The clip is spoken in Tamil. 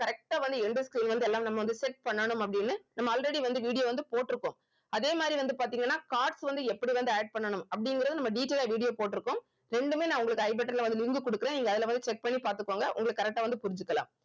correct ஆ வந்து எல்லாம் நம்ம வந்து set பண்ணனும் அப்படின்னு நம்ம already வந்து video வந்து போட்டிருக்கோம் அதே மாதிரி வந்து பாத்தீங்கன்னா cards வந்து எப்படி வந்து add பண்ணனும் அப்படிங்கறது நம்ம detail ஆ video போட்டிருக்கோம் ரெண்டுமே நான் உங்களுக்கு I button ல வந்து link குடுக்கறேன் நீங்க அதுல வந்து check பண்ணி பாத்துக்கோங்க உங்களுக்கு correct ஆ வந்து புரிஞ்சுக்கலாம்